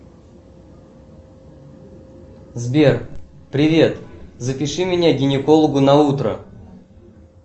сбер привет запиши меня к гинекологу на утро